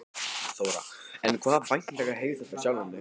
Þóra: En hvaða væntingar hefur þú fyrir sjálfan þig?